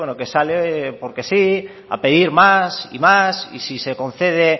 que sale porque sí a pedir más y más y si se concede